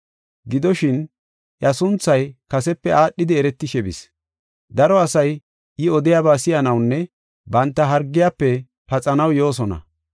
Gidoshin, iya sunthay kasepe aadhidi eretishe bis. Daro asay I odiyaba si7anawunne banta hargiyafe paxanaw yoosona.